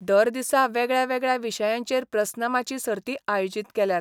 दर दिसा वेगळ्यावेगळ्या विशयांचेर प्रस्नमाची सर्ती आयोजीत केल्यात.